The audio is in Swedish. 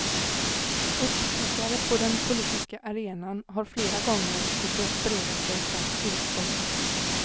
Uppstickare på den politiska arenan har flera gånger försökt bereda sig plats i riksdagen.